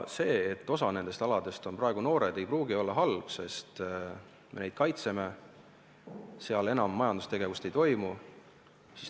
See, et osa nendest aladest on praegu noored, ei pruugi olla halb, sest me kaitseme neid ja seal enam majandustegevust ei toimu.